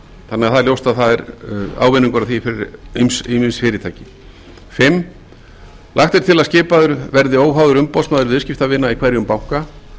þannig að það er ljóst að það er ávinningur að því fyrir ýmis fyrirtæki fimmta lagt er til að skipaður verði óháður umboðsmaður viðskiptavina í hverjum banka